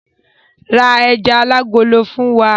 Ra ejà alágolo fún wa!